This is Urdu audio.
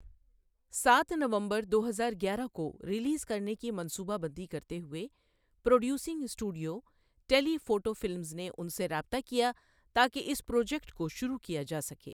سات نومبر دو ہزار گیارہ کو ریلیز کرنے کی منصوبہ بندی کرتے ہوئے producing studio, Telephoto Films نے ان سے رابطہ کیا تاکہ اس پروجیکٹ کو شروع کیا جا سکے۔